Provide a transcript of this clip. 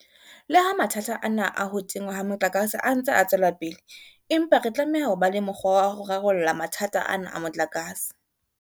Le ha mathata ana a ho tingwa ha motlakase a ntse a tswela pele, empa re tlameha ho ba le mokgwa wa ho rarolla mathata ana a motlakase.